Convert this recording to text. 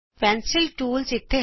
pencil tools ਇਥੇ ਹਨ